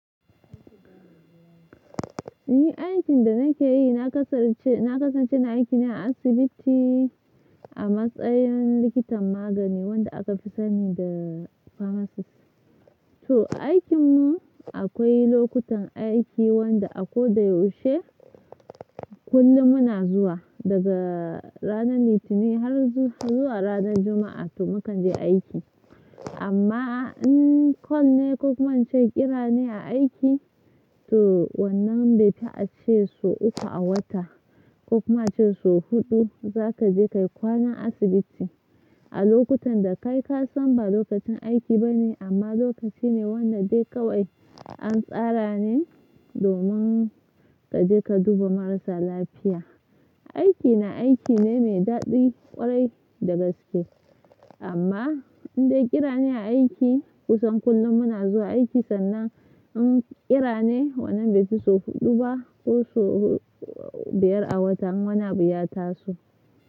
Ni aikin da nake yi, na kasance na kasance na aiki ne a asibiti a matsayin likitan magani wanda aka fi sani da pharmacist. To aikin mu akwai lokutan aiki wanda a ko da yaushe kullum muna zuwa daga ranar Litinin har zuwa ranar Juma'a to muka je aiki. Amma in call ne ko kuma an ce ƙira ne a aiki, to wannan bai fi a ce sau uku a wata ko kuma ace sau huɗu za ka je ka kwana asibiti. A lokutan da kai ka san ba lokacin aiki ba ne amma lokaci ne wanda dai kawai an tsara ne domin ka je ka duba marasa lafiya. Aiki na aiki ne mai daɗi ƙwarai da gaske. Amma in dai ƙira ne a aiki kusan kullum muna zuwa aiki sannan in ƙira ne wannan bai fi sau huɗu ba ko sau biyar a wata muna biya tasu.